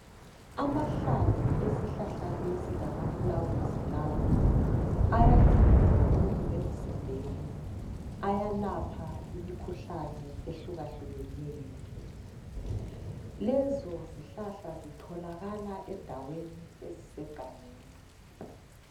Amahlamvu esihlahla lesi lamaflawuzi lawo ayanceda kakhulu emzimbeni Ayalapha imikhuhlane ehlukahlukeneyo. Lezo zihlahla zitholakala endaweni ezisegangeni